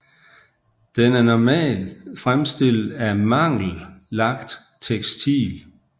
Den er normal fremstillet af mangel lagt tekstil